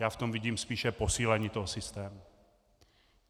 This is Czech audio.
Já v tom vidím spíše posílení toho systému.